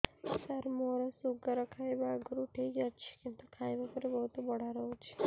ସାର ମୋର ଶୁଗାର ଖାଇବା ଆଗରୁ ଠିକ ଅଛି କିନ୍ତୁ ଖାଇବା ପରେ ବହୁତ ବଢ଼ା ରହୁଛି